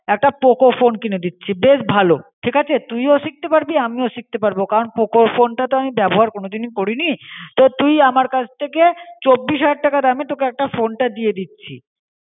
একটা poco phone কিনে দিচি বেশ ভালো. ঠিক আছে তুইও সিকতে পারবি আমিও সিকতে পারব, কারণ poco ফোনটা তো আমি বেবহার কোনো দিনও করিনি. তো তুই আমার কাছ ঠিকে সবিষ হাজার টাকাআর দামে তোকে একটা ফোনটা দিয়ে দিচি. ঠিক আছে?